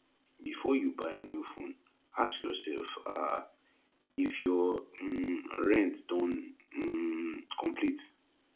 before you buy new phone ask yourself um if your um rent don um complete